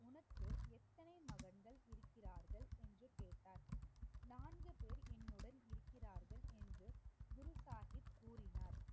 உங்களுக்கு எத்தனை மகன்கள் இருக்கிறார்கள் என்று கேட்டார் நான்கு பேர் என்னுடன் இருக்கிறார்கள் என்று குரு சாஹிப் கூறினார்.